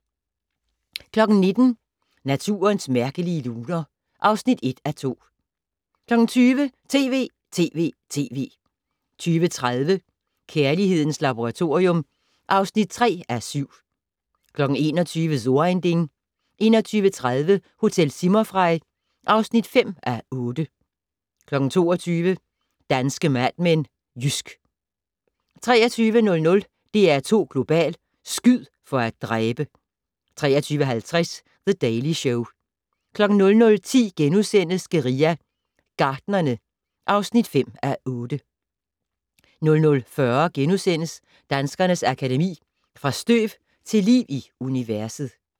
19:00: Naturens mærkelige luner (1:2) 20:00: TV!TV!TV! 20:30: Kærlighedens Laboratorium (3:7) 21:00: So ein Ding 21:30: Hotel Zimmerfrei (5:8) 22:00: Danske Mad Men: Jysk 23:00: DR2 Global: Skyd for at dræbe! 23:50: The Daily Show 00:10: Guerilla Gartnerne (5:8)* 00:40: Danskernes Akademi: Fra støv til liv i universet *